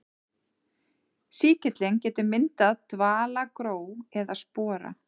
Sýkillinn getur myndað dvalagró eða spora.